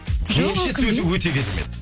жоқ меніңше сөзі өте керемет